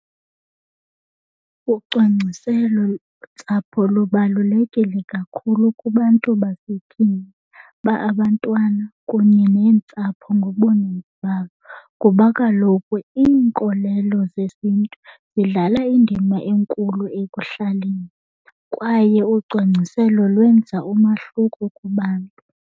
Ucwangciselontsapho lubalulekile kakhulu kubantu basetyhini uba abantwana kunye neentsapho ngobuninzi bazo, kuba kaloku iinkolelo zesiNtu zidlala indima enkulu ekuhlaleni kwaye ucwangciselo lwenza umahluko kubantu.